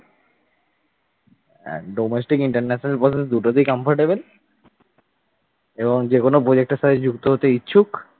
domestic international process দুটোতেই comfortable এবং যেকোনো project এর সাথে যুক্ত হতে ইচ্ছুক।